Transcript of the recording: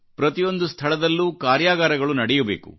ಪ್ರತಿಯೊಂದು ಸ್ಥಳಗಳಲ್ಲೂ ಕಾರ್ಯಾಗಾರಗಳುನಡೆಯಬೇಕು